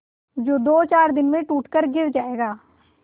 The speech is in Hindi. जो दोचार दिन में टूट कर गिर जाएगा